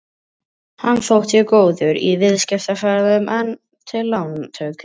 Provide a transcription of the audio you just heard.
Hann þótti góður í viðskiptaferðum eða til lántöku.